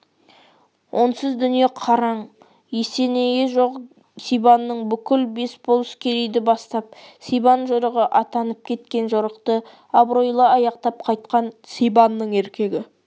онсыз дүние қаран есенейі жоқ сибанның бүкіл бес болыс керейді бастап сибан жорығы атанып кеткен жорықты абыройлы аяқтап қайтқаны сибанның еркегі